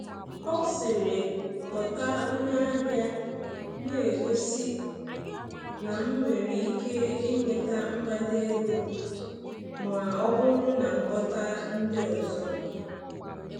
Ọ sịrị, “kpọta onye ahịa,” na-egosi na m nwere ike inweta mgbada ego ma ọ bụrụ na m kpọta ndị ọzọ.